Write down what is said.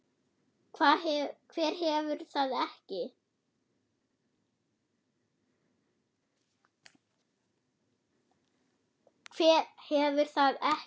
Hver hefur það ekki?